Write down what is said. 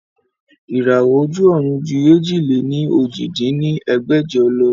Ìràwọ́ ojú ọ̀run ju èjì-lé-ní-ojì dín ní ẹgbẹ́jọ lọ